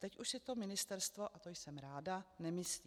Teď už si to ministerstvo, a to jsem ráda, nemyslí.